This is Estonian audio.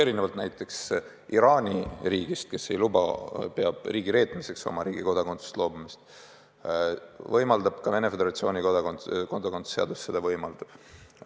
Erinevalt näiteks Iraani riigist, kes seda ei luba, kes peab Iraani kodakondsusest loobumist riigireetmiseks, Venemaa Föderatsiooni kodakondsuse seadus seda võimaldab.